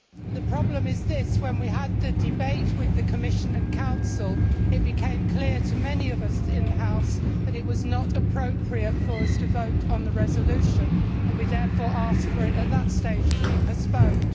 The problem is this when we had the debate with the Commission and Council, it became clear to many of us in the House that it was not appropriate for us to vote on the resolution, and we therefore asked for it, at that stage, to be postponed.